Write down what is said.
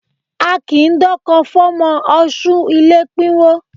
A kì í dọ́kọ fọ́mọ ọṣú ilé pínwó